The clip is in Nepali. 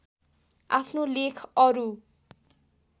आफ्नो लेख अरू